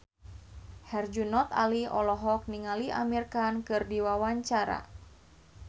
Herjunot Ali olohok ningali Amir Khan keur diwawancara